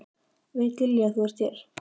Veit Lilja að þú ert hér?